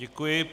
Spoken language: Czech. Děkuji.